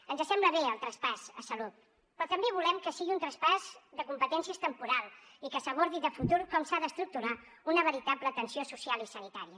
ens sembla bé el traspàs a salut però també volem que sigui un traspàs de competències temporal i que s’abordi de futur com s’ha d’estructurar una veritable atenció social i sanitària